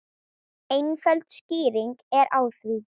Einföld skýring er á því.